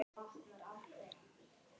Hann lítur við.